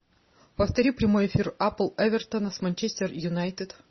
повтори прямой эфир апл эвертона с манчестер юнайтед